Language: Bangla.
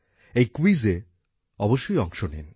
এই ক্যুইজে অবশ্যই অংশ নিন